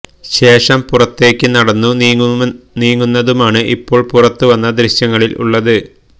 ശേഷം പുറത്തേക്ക് നടന്നു നീങ്ങുന്നതുമാണ് ഇപ്പോള് പുറത്തു വന്ന ദൃശ്യങ്ങളില് ഉള്ളത്